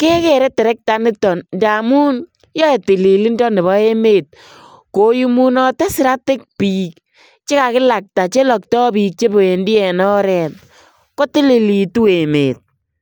kekere terekta initon ndamun yoe tililindo nebo emet, koyumunote siratik bik chekakilakta chelokto bik chebendi en oret kotililitu emet.